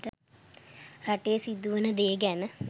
රටේ සිදුවන දේ ගැන